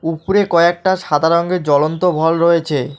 উপরে কয়েকটা সাদা রঙ্গের জ্বলন্ত ভল রয়েছে।